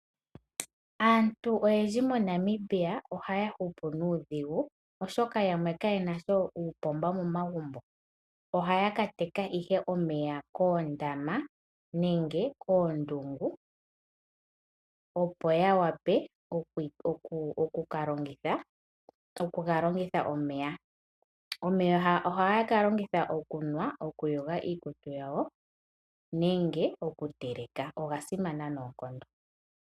Aantu oyendji moNamibia ohaya hupu nuudhigu oshoka yamwe kaye nasha uupomba momagumbo ohaya ka teka ihe omeya koondama opo ya wape oku kegalongitha ngaashi: okunwa, okuyogitha iikutu yawo nosho woo okutelekitha iikulya yawo. Omeya Oga simana noonkondo.